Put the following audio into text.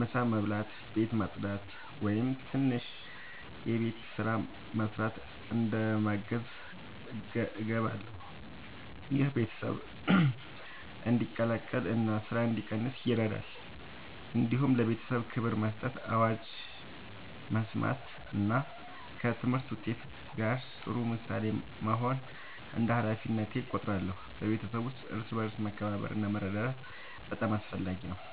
ምሳ መስበስ፣ ቤት ማጽዳት ወይም ትንሽ የቤት ስራ መስራት እንደ ማገዝ እገባለሁ። ይህ ቤተሰብ እንዲቀላቀል እና ስራ እንዲቀንስ ይረዳል። እንዲሁም ለቤተሰቤ ክብር መስጠት፣ አዋጅ መስማት እና ከትምህርት ውጤት ጋር ጥሩ ምሳሌ መሆን እንደ ሃላፊነቴ እቆጥራለሁ። በቤተሰብ ውስጥ እርስ በርስ መከባበር እና መረዳዳት በጣም አስፈላጊ ነው።